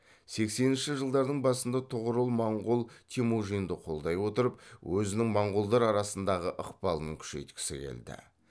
сексенінші жылдардың басында тұғырыл моңғол темүжинді қолдай отырып өзінің моңғолдар арасындағы ықпалын күшейткісі келді